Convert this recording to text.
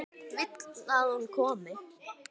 Vill að hún komi.